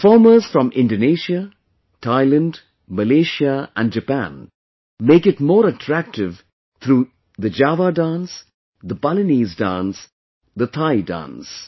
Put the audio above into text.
Performers from Indonesia, Thailand, Malaysia and Japan make it more attractive through Java dance, Balinese dance, Thai dance